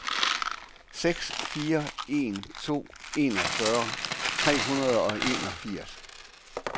seks fire en to enogfyrre tre hundrede og enogfirs